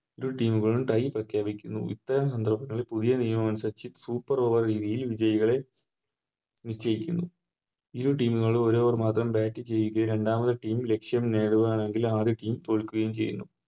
ഇരു Team കളും Tie പ്രഖ്യപിക്കുന്നു ഇപ്പോൾ ഉണ്ടാകുന്ന പുതിയ നിയമം അനുസരിച്ച് Super over രീതികളിൽ വിജയികളെ നിശ്ചയിക്കുന്നു ഇരു Team കളും ഒര് Over മാത്രം Bat ചെയ്യുകയും രണ്ടാമത്തെ Team ലക്ഷ്യം നേടുകയാണെങ്കിൽ ആദ്യ Team തോൽക്കുകയും ചെയ്യുന്നു